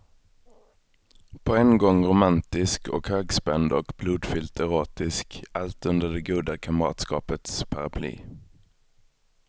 På en gång romantisk och högspänd och blodfyllt erotisk, allt under det goda kamratskapets paraply.